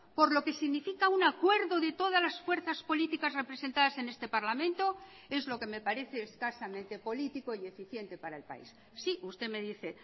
por lo que significa un acuerdo de todas las fuerzas políticas representadas en este parlamento es lo que me parece escasamente político y eficiente para el país sí usted me dice